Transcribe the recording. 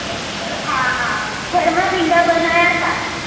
હા હા ભર માં ભીંડા બનાયા હતા